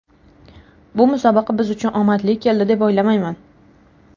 Bu musobaqa biz uchun omadli keldi, deb o‘ylamayman.